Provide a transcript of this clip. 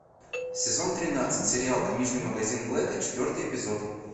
сезон тринадцать сериал книжный магазин блэка четвертый эпизод